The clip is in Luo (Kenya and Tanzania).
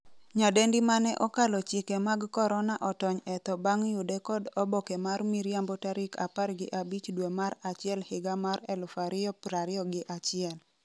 nyadendi mane 'okalo chike mag korona' otony e tho bang' yude kod oboke mar miriambo tarik 15 dwe mar achiel higa mar 2021